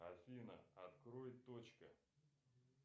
афина открой точка